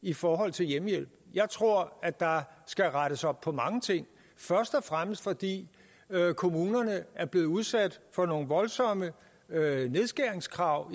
i forhold til hjemmehjælp jeg tror at der skal rettes op på mange ting først og fremmest fordi kommunerne er blevet udsat for nogle voldsomme nedskæringskrav